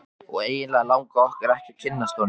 Og eiginlega langaði okkur ekki að kynnast honum.